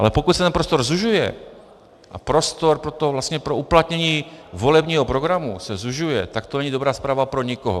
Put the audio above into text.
Ale pokud se ten prostor zužuje a prostor pro uplatnění volebního programu se zužuje, tak to není dobrá zpráva pro nikoho.